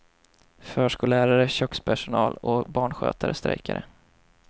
Förskollärare, kökspersonal och barnskötare strejkade.